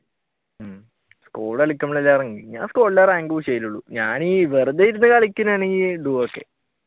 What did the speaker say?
squad കളിക്കുമ്പോഴല്ലേ ഞാൻ സ്‌ക്വാഡിലെ rank push ചെയ്തിട്ടുളളു ഞാൻ വെറുതെ ഇരുന്ന് കളിക്കുകയാണെങ്കിൽ duo